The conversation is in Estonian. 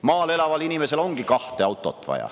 Maal elaval inimesel ongi kahte autot vaja.